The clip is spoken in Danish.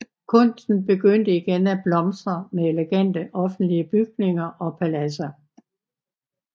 Kunsten begyndte igen at blomstre med elegante offentlige bygninger og paladser